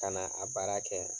Kana a baara kɛ